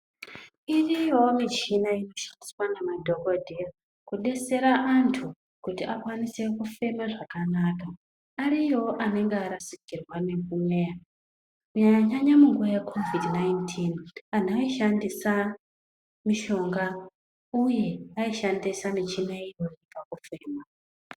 Iriyoyo michina inoshandiswa namadhokodheya kudetsera antu kuti akwanise kufema zvakanaka ariyoyo anenge arasikirwa nemweya kunyanya nyanya muKovidhi 19, antu aishandisa mushonga uye aishandisa michina iyoyo pakufema.